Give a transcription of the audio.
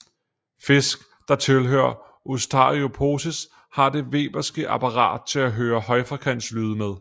Fisk der tilhører Ostariophysi har det weberske apparat til at høre højfrekvente lyde med